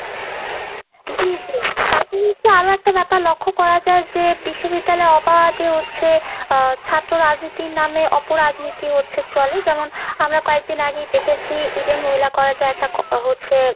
জি আরো একটা ব্যাপার লক্ষ্য করা যায় যে বিশ্ববিদ্যালয়ে অবাধে হচ্ছে আহ ছাত্র রাজনীতির নামে অপরাজনীতি হচ্ছে চলে যেমন আমরা কয়েকদিন আগেই দেখেছি Eden মহিলা college এ একটা হচ্ছে